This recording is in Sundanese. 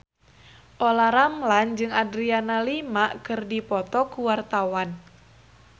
Olla Ramlan jeung Adriana Lima keur dipoto ku wartawan